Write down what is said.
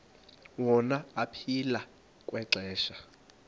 wona aphila kwixesha